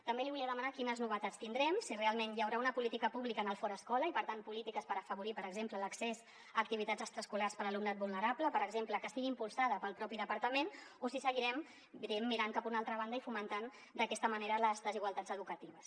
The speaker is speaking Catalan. també li volia demanar quines novetats hi tindrem si realment hi haurà una política pública en el fora escola i per tant polítiques per afavorir per exemple l’accés a activitats extraescolars per a l’alumnat vulnerable per exemple que estigui impulsada pel propi departament o si seguirem diguem ne mirant cap a una altra banda i fomentant d’aquesta manera les desigualtats educatives